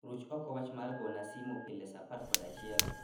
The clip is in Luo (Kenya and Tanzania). Ruch oko wach mar gona simo pile saa apar kod achiel